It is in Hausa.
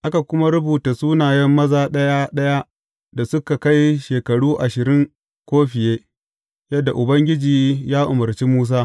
Aka kuma rubuta sunayen maza ɗaya ɗaya da suka kai shekaru ashirin ko fiye, yadda Ubangiji ya umarci Musa.